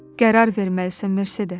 Qərar verməlisən Mercedes.